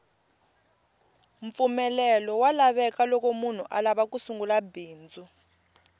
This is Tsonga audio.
mpfumelelo wa lavekaloko munhu alava ku sungula bindzu